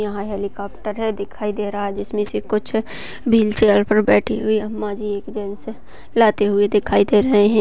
यहाँ हेलीकॉप्टर दिखाई दे रहा है जिसमे से कुछ बिल चेयर पर बैठी हुई अम्मा जी रेजिडेंस से लाते हुए दिखाई दे रही हैं।